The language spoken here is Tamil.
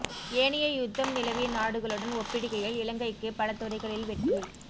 ஏனைய யுத்தம் நிலவிய நாடுகளுடன் ஒப்பிடுகையில் இலங்கைக்கு பலதுறைகளில் வெற்றி